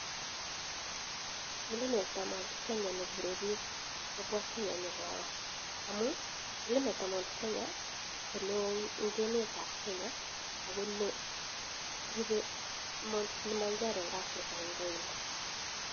Mlimet ab mt kenya nekure bik kwobwa kenya nyokoro amuu mlimet ab mt kenya koneoo eng emet kenya akonerube mt kilimanjaro eng africa eng kainda